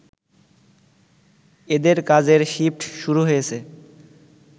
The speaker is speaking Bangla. এদের কাজের শিফট শুরু হয়েছে